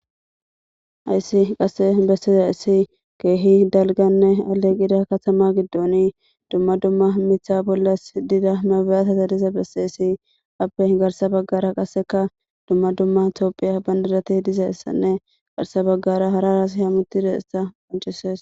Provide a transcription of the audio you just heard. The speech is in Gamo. Hayssi qasse bessiza issi keehi dalganne aleqida katama giddoni dumma dumma mitha bollas dida mabeyata tadiza besseessi appe garsa baggara qaseka dumma dumma tiophiya banirati dizayssinne garsa baggara hararas hamutidayissa qoncesees.